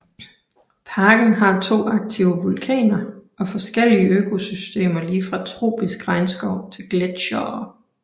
Parken har to aktive vulkaner og forskellige økosystemer ligefra tropisk regnskov til gletsjerer